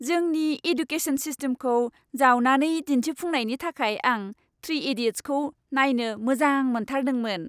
जोंनि एडुकेसन सिस्टेमखौ जावनानै दिन्थिफुंनायनि थाखाय आं "थ्रि इडियट्स"खौ नायनो मोजां मोनथारदोंमोन!